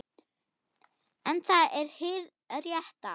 En það er hið rétta.